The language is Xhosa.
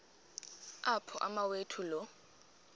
apho umawethu lo